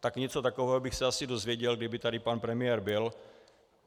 Tak něco takového bych se asi dozvěděl, kdyby tady pan premiér byl.